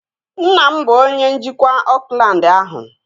Nna m bụ onye njikwa Oakland ahụ